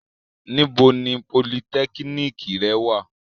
Nibo ni polytechnic rẹ wa?